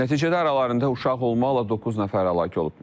Nəticədə aralarında uşaq olmaqla doqquz nəfər həlak olub.